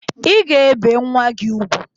I ga ebe nwa gị ugwu!